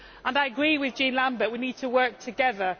I agree with Jean Lambert we need to work together